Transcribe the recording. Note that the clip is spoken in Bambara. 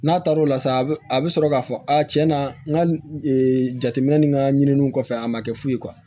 N'a taar'o la sa a bɛ a bɛ sɔrɔ k'a fɔ a tiɲɛ na n ka jateminɛ ni ka ɲininiw kɔfɛ a ma kɛ foyi ye